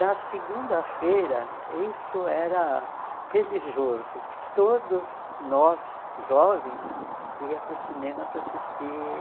Na segunda-feira, isso era religioso, todos nós jovens ia para o cinema para assistir